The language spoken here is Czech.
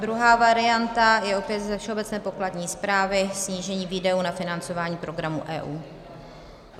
Druhá varianta je opět ze Všeobecné pokladní správy, snížení výdajů na financování programů EU.